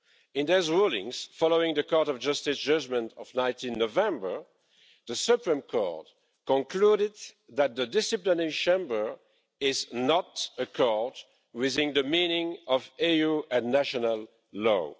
In those rulings, following the Court of Justice judgment of 19 November, the Supreme Court concluded that the Disciplinary Chamber is not a court within the meaning of EU and national law.